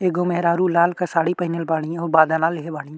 एगो मेहरारू लाल क साड़ी पहिनेल बाड़ी। हऊ लेले बाड़ी।